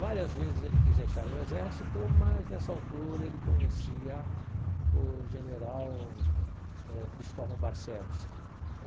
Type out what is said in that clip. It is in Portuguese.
Várias vezes ele quis deixar o exército, mas dessa altura ele conhecia o general eh Cristóvão Barcelos é.